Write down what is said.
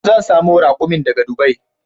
Zan samo rakumin daga dubai